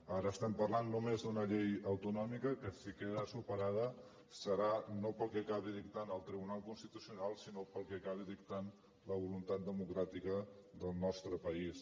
ara estem parlant només d’una llei autonòmica que si queda superada serà no pel que acabi dictant el tribunal constitucional sinó pel que acabi dictant la voluntat democràtica del nostre país